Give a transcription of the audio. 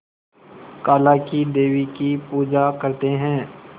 काला क़ी देवी की पूजा करते है